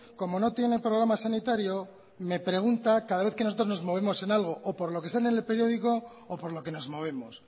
como no tiene programa sanitario me pregunta cada vez que nosotros nos movemos en algo o por lo que sale en el periódico o por lo que nos movemos